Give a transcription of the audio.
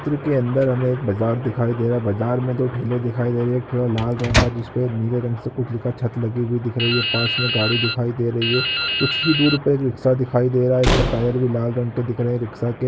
के अंदर हमें एक बाजार दिखाई दे रहा है बाजार में दो ठेले दिखाई दे रहे है एक ठेला लाल रंग का जिसपे एक नीले रंग से कुछ लिख छत लगी हुई दिख रही है पास में गाड़ी दिखाई दे रही है कुछ ही दूर पे एक रिक्शा दिखाई दे रहा है इसका टायर भी लाल रंग के दिख रहे है रिक्शा के --